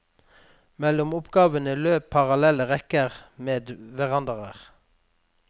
Mellom oppgangene løp parallelle rekker med verandaer.